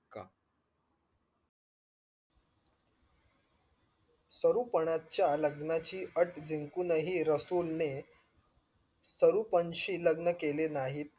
सरुपनाच्या लग्नाची अट जिंकूनही रसूल ने सरूपण शी लग्न केले नाही